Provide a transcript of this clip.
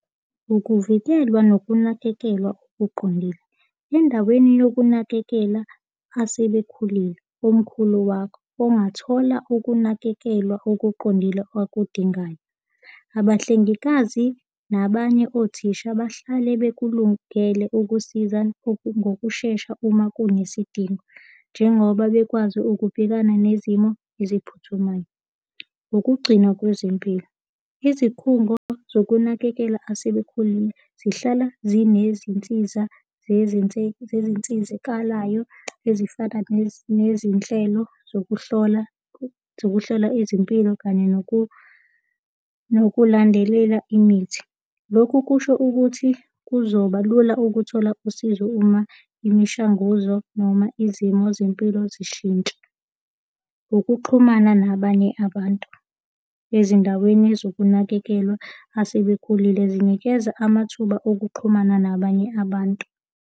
Ukuvikelwa nokunakekelwa okuqondile. Endaweni yokunakekela asebekhulile omkhulu wakho ongathola ukunakekelwa okuqondile akudingayo. Abahlengikazi nabanye othisha bahlale bekulungele ukusiza ngokushesha uma kunesidingo, njengoba bekwazi ukubhekana nezimo eziphuthumayo. Ukugcina kwezempilo. Izikhungo zokunakekela asebekhulile zihlala zinezinsiza zezinsizakaloyo, ezifana nezinhlelo zokuhlola zokuhlola izimpilo kanye nokulandelela imithi. Lokhu kusho ukuthi kuzoba lula ukuthola usizo uma imishanguzo noma izimo zempilo zishintsha. Ukuxhumana nabanye abantu. Ezindaweni zokunakekelwa asebekhulile zinikeza amathuba okuxhumana nabanye abantu.